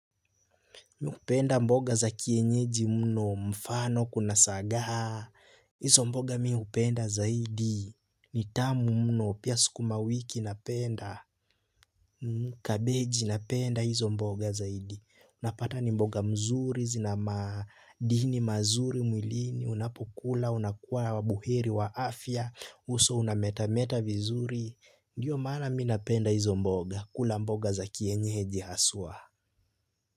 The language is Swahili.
Mi hupenda mboga za kienyeji mno mfano kuna sagaha. Hizo mboga mi hupenda zaidi. Nitamu mno pia sukuma wiki napenda. Kabeji napenda hizo mboga zaidi. Napata ni mboga mzuri zina madini mazuri mwilini. Unapokula, unakuwa buheri wa afya. Uso unameta meta vizuri. Ndiyo maana mi napenda hizo mboga. Kula mboga za kienyeji haswa.